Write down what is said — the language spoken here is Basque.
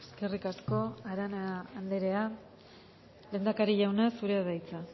eskerrik asko arana anderea lehendakari jauna zurea da hitza